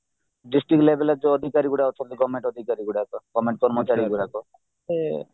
district level ଯୋଉ ଅଧିକାରୀ ଅଛନ୍ତି government ଅଧିକାରୀ ଗୁଡାକ government କର୍ମଚାରୀ ଗୁଡାକ ସେ